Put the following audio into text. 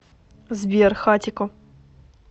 сбер хатико